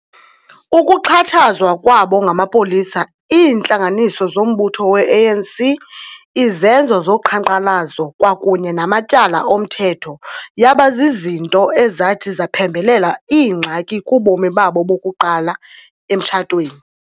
Ukuxhatshazwa kwabo ngamapolisa, iintlanganiso zombutho weANC, izenzo zoqhankqalazo kwakunye namatyala omthetho yaba zizinto ezathi zaphembelela iingxaki kubomi babo bokuqala emtshatweni.